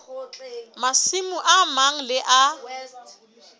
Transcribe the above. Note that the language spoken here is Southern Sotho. masimo a mang le a